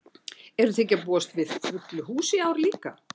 Eruð þið ekki að búast við fullu húsi í ár líka?